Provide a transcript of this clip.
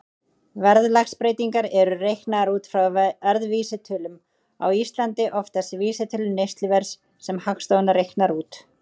Verðlagsbreytingar eru reiknaðar út frá verðvísitölum, á Íslandi oftast vísitölu neysluverðs sem Hagstofan reiknar út.